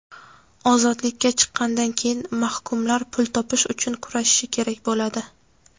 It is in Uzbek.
Ozodlikka chiqqandan keyin mahkumlar pul topish uchun kurashishi kerak bo‘ladi.